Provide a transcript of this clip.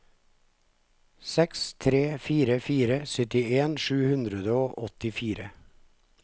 seks tre fire fire syttien sju hundre og åttifire